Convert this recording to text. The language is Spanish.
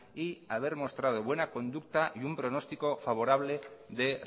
y haber mostrado buena conducta y un pronóstico favorable de